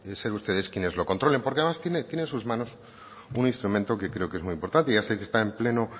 ser ustedes quienes lo controlen porque además tiene en sus manos un instrumento que creo que es muy importante ya sé que están en pleno